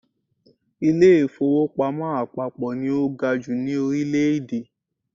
Ilé-ìfowópamọ́ àpapọ̀ ni ó ga jù ní Orílẹ̀dè